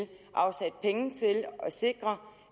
afsat penge til at sikre